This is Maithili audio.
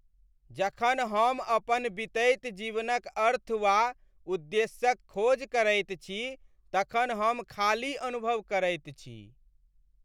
जखन हम अपन बितैत जीवनक अर्थ वा उद्देश्यक खोज करैत छी तखन हम खाली अनुभव करैत छी।